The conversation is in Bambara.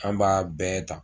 An b'a bɛɛ ta